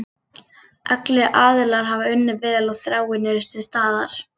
Allir aðilar hafa unnið vel og þráin er til staðar.